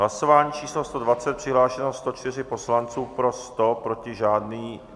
Hlasování číslo 120, přihlášeno 104 poslanců, pro 100, proti žádný.